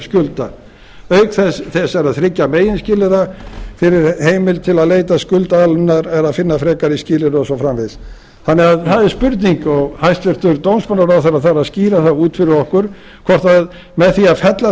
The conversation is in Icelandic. skulda auk þessara þriggja meginskilyrða er heimild til að leita skuldaaðlögunar eða finna frekari skilyrði og svo framvegis þannig að það er spurning og hæstvirtur dómsmálaráðherra þarf að skýra það út fyrir okkur hvort með því að fella